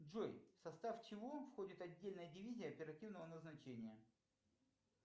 джой в состав чего входит отдельная дивизия оперативного назначения